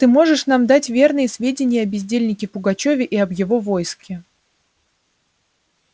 ты можешь нам дать верные сведения о бездельнике пугачёве и об его войске